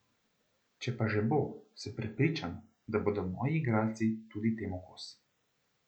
Če pa že bo, sem prepričan, da bodo moji igralci tudi temu kos.